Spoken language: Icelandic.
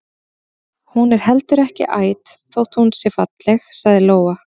Hún er heldur ekki æt þótt hún sé falleg, sagði Lóa.